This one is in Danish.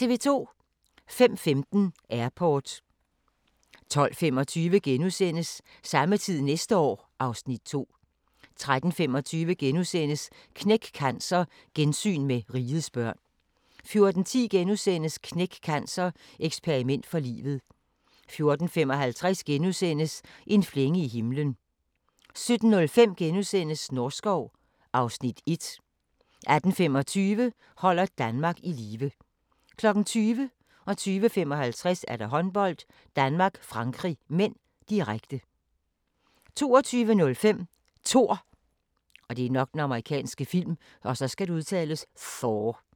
05:15: Airport 12:25: Samme tid næste år (Afs. 2)* 13:25: Knæk Cancer: Gensyn med Rigets børn * 14:10: Knæk Cancer: Eksperiment for livet * 14:55: En flænge i himlen * 17:05: Norskov (Afs. 1)* 18:25: Holder Danmark i live 20:00: Håndbold: Danmark-Frankrig (m), direkte 20:55: Håndbold: Danmark-Frankrig (m), direkte 22:05: Thor